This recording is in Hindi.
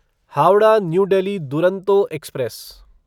Howrah New Delhi Duronto express